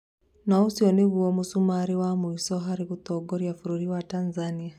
Naũcio nĩguo mũcumarĩ wa mwisho harĩ gũtoria bũrũri wa Tanzania